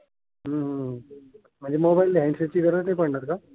म्हणजे mobile handset ची गरज नाही पडणार का?